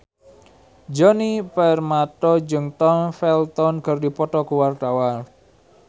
Djoni Permato jeung Tom Felton keur dipoto ku wartawan